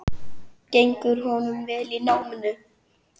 Gengur honum vel í náminu?